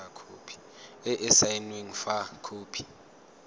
e e saenweng fa khopi